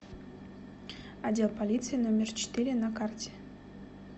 отдел полиции номер четыре на карте